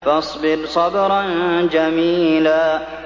فَاصْبِرْ صَبْرًا جَمِيلًا